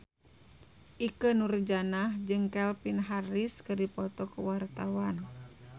Ikke Nurjanah jeung Calvin Harris keur dipoto ku wartawan